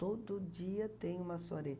Todo dia tem uma soirée.